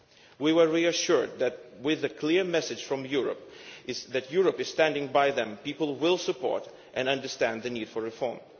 We were reassured that, with a clear message from Europe that Europe is standing by them, the people will support and understand the need for reform.